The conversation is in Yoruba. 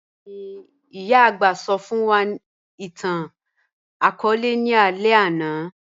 Bẹẹni, iyà agbà sọ fun wa itan-akọọlẹ ni alẹ ana.